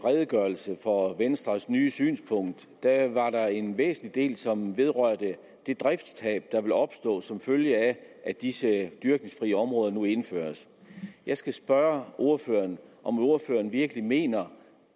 redegørelse for venstres nye synspunkt var der en væsentlig del som vedrørte det driftstab der vil opstå som følge af at disse dyrkningsfrie områder nu indføres jeg skal spørge ordføreren om ordføreren virkelig mener